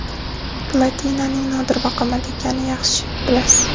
Platinaning nodir va qimmat ekanini yaxshi bilasiz.